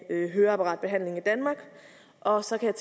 høreapparatbehandlingen i danmark og så kan